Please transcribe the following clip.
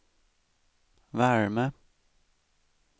värme